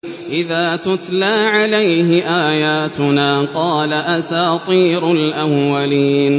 إِذَا تُتْلَىٰ عَلَيْهِ آيَاتُنَا قَالَ أَسَاطِيرُ الْأَوَّلِينَ